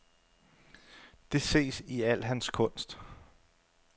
Det ses i al hans kunst.